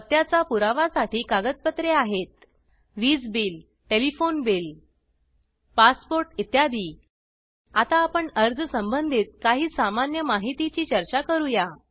पत्त्याचा पुरावा साठी कागदपत्रे आहेत वीज बिल टेलिफोन बिल पासपोर्ट इत्यादी आता आपण अर्ज संबंधित काही सामान्य माहिती ची चर्चा करूया